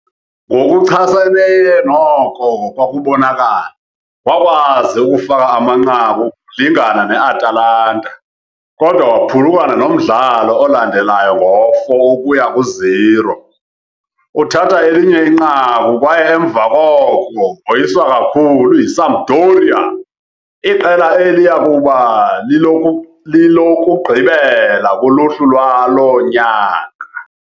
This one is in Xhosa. Ngokuchaseneyo noko kwakubonakala, wakwazi ukufaka amanqaku ngokulingana ne-Atalanta, kodwa waphulukana nomdlalo olandelayo ngo-4 ukuya ku-0. Uthatha elinye inqaku kwaye emva koko woyiswa kakhulu yiSampdoria, iqela eliya kuba lilokugqibela kuluhlu lwalo nyaka.